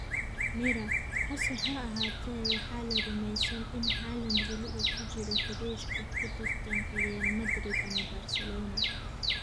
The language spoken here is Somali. (Mirror) Hase ahaatee, waxaa la rumaysan in Haaland weli uu ku jiro xidhiidhka ku tartanka Real Madrid ama Barcelona.